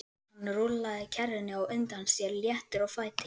Hann rúllaði kerrunni á undan sér léttur á fæti.